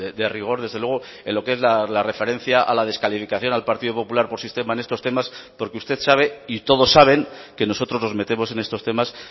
de rigor desde luego en lo que es la referencia a la descalificación al partido popular por sistema en estos temas porque usted sabe y todos saben que nosotros nos metemos en estos temas